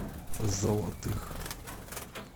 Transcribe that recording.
золотых